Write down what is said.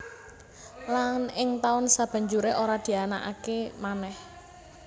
Lan ing taun sabanjuré ora dianakaké manèh